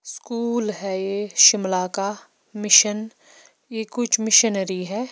School है यह शिमला का मिशन यह कुछ मिशनरी है।